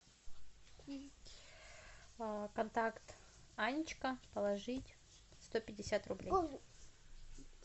контакт анечка положить сто пятьдесят рублей